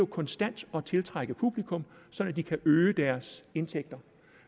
konstant at tiltrække publikum sådan at de kan øge deres indtægter